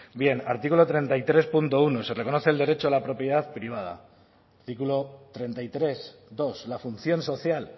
bien artículo treinta y tres punto uno se reconoce el derecho a la propiedad privada artículo treinta y tres punto dos la función social